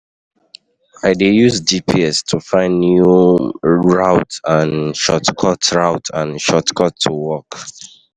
I dey use GPS to find new um routes and shortcuts routes and shortcuts um to work.